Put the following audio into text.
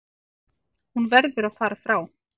Hún verður að fara frá